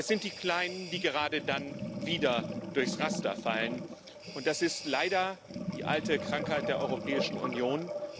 Aber es sind die Kleinen, die gerade dann wieder durchs Raster fallen, und das ist leider die alte Krankheit der Europäischen Union.